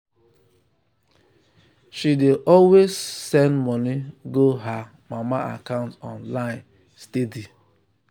she dey always um send money go her um mama account online um steady.